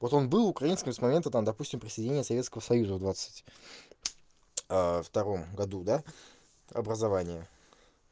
вот он был украинским с момента там допустим присоединения советского союза в двадцать втором году да образования